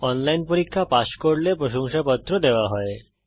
online পরীক্ষা pass করলে প্রশংসাপত্র দেওয়া হয়